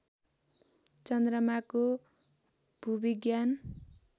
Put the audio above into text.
चन्द्रमाको भूविज्ञान